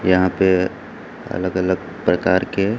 यहां पे अलग अलग प्रकार के--